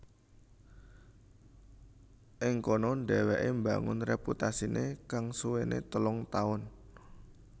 Ing kono dheweke mbangun reputasine kang suwene telung taun